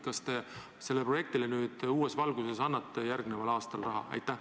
Kas te sellele projektile nüüd uues valguses annete järgmisel aastal raha?